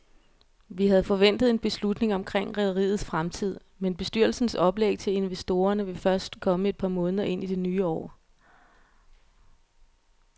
Vi havde forventet en beslutning omkring rederiets fremtid, men bestyrelsens oplæg til investorerne vil først komme et par måneder ind i det nye år.